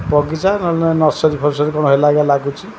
ବଗିଚା ନହେଲେ ନର୍ସରୀ ଫର୍ଷରି କଣ ହେଲା ଭଳିଆ ଲାଗୁଛି ।